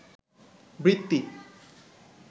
বৃত্তি